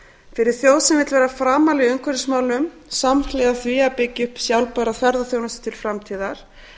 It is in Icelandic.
fyrir þjóð sem vill vera framarlega í umhverfismálum samhliða því að byggja upp sjálfbæra ferðaþjónustu til framtíðar